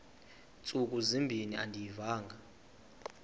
ntsuku zimbin andiyivanga